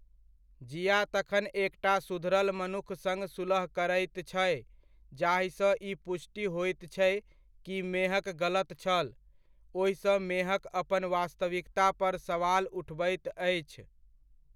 जिया तखन एकटा सुधरल मनुख सङ्ग सुलह करैत छै जाहिसँ ई पुष्टि होइत छै कि मेहक गलत छल, ओहिसँ मेहक अपन वास्तविकता पर सवाल उठबैत अछि।